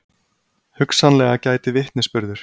Hugsanlega gæti vitnisburður